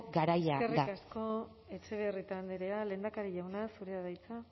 garaia da eskerrik asko etxebarrieta andrea lehendakari jauna zurea da hitza